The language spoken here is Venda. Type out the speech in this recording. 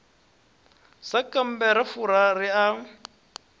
sankambe ra fura ri a